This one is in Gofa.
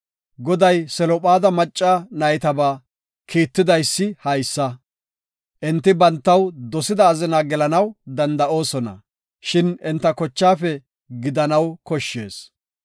Goday Selophaada macca naytabaa kiittidaysi haysa; enti bantaw dosida azina gelanaw danda7oosona, shin enta kochaafe gidanaw koshshees.